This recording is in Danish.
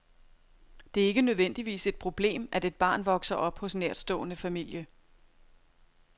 Det er ikke nødvendigvis et problem, at et barn vokser op hos nærtstående familie.